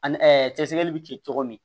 Ani cɛ sɛgɛsɛgɛli bɛ kɛ cogo min